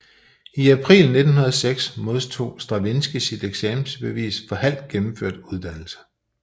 I april 1906 modtog Stravinskij sit eksamensbevis for halvt gennemført uddannelse